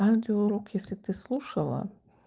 аудио урок если ты слушала